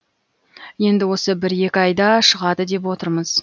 енді осы бір екі айда шығады деп отырмыз